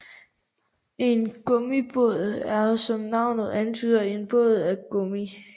En gummibåd er som navnet antyder en båd af gummi